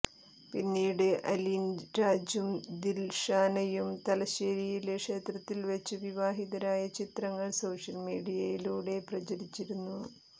പിന്നീട് അലിൻരാജും ദിൽഷാനയും തലശ്ശേരിയിലെ ക്ഷേത്രത്തിൽവച്ച് വിവാഹിതരായ ചിത്രങ്ങൾ സോഷ്യൽ മീഡിയയിലൂടെ പ്രചരിച്ചിരുന്നു